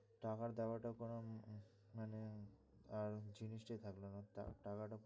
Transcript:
টাকার দেয়াটা কোনো মানে আর জিনিস টাই থাকলো না।